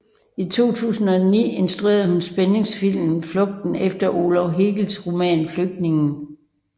I 2009 instruerede hun spændingsfilmen Flugten efter Olav Hergels roman Flygtningen